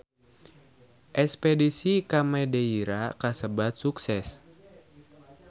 Espedisi ka Madeira kasebat sukses